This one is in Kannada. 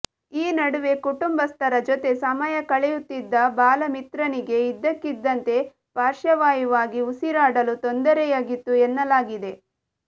ಈ ನಡುವೆ ಕುಟುಂಬಸ್ಥರ ಜೊತೆ ಸಮಯ ಕಳೆಯುತ್ತಿದ್ದ ಬಾಲಮಿತ್ರನ್ಗೆ ಇದಕ್ಕಿದಂತೆ ಪಾರ್ಶ್ವವಾಯುವಾಗಿ ಉಸಿರಾಡಲು ತೊಂದರೆಯಾಗಿತ್ತು ಎನ್ನಲಾಗಿದೆ